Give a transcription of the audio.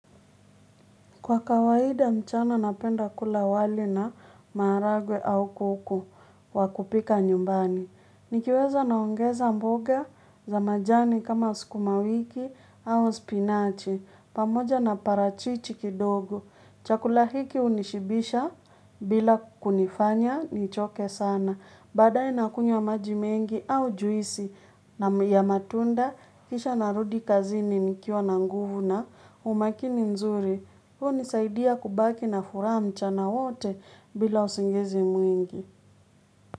Kwa kawaida mchana napenda kula wali na maharagwe au kuku wa kupika nyumbani. Nikiweza naongeza mboga za majani kama sukumawiki au spinachi. Pamoja na parachichi kidogo. Chakula hiki hunishibisha bila kunifanya nichoke sana. Badaaye nakunywa maji mengi au juisi ya matunda. Kisha narudi kazini nikiwa na nguvu na umakini nzuri. Huu hunisaidia kubaki na furaha mchana wote bila usingizi mwingi.